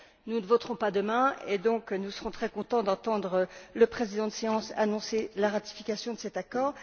Nous ne voterons pas demain et donc, nous serons très contents d'entendre le président de séance annoncer la ratification de cet accord.